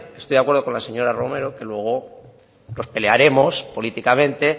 estoy de acuerdo con la señora romero que luego nos pelearemos políticamente